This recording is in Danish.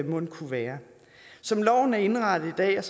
mon kunne være som loven er indrettet i dag